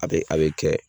A bɛ a bɛ kɛ